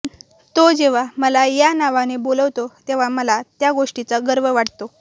तो जेव्हा मला या नावाने बोलावतो तेव्हा मला त्या गोष्टीचा गर्व वाटतो